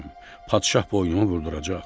Padişah boynumu vurduracaq.